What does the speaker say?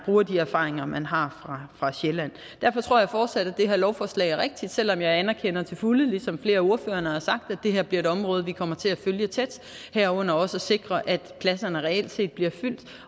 bruger de erfaringer man har fra sjælland jeg tror fortsat at det her lovforslag er rigtigt selv om jeg anerkender til fulde ligesom flere af ordførerne har sagt at det her bliver et område vi kommer til at følge tæt herunder også at sikre at pladserne reelt set bliver fyldt